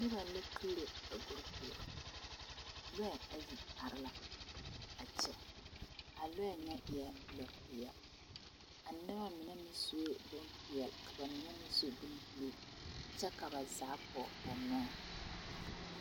Noba la tugro a guri puori loɛ ayi are la a kyɛ a loɛ nyɛ e la lopeɛle a noba mind meŋ sue bompeɛle ka ba mine meŋ su boŋgerene kyɛ ka ba zaa pɔge ba nɔɛ.